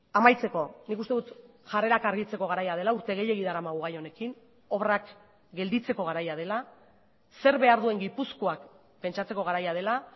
amaitzeko nik uste dut jarrerak argitzeko garaia dela urte gehiegi daramagu gai honekin obrak gelditzeko garaia dela zer behar duen gipuzkoak pentsatzeko garaia dela